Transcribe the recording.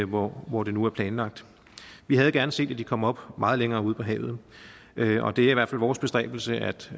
hvor hvor det nu er planlagt vi havde gerne set at de kom op meget længere ude på havet og det er i hvert fald vores bestræbelse at